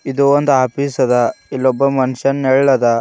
ಇದು ಒಂದು ಆಫೀಸ ಅದ ಇಲ್ಲೊಬ್ಬ ಮನುಷ್ಯನ ನೇಳ ಅದ.